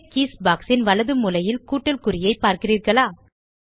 shape keys box ன் வலது மூலையில் கூட்டல் குறியை பார்க்கிறீர்களா